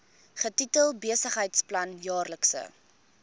getitel besigheidsplan jaarlikse